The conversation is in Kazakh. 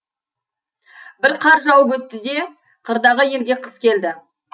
бір қар жауып өтті де қырдағы елге қыс келді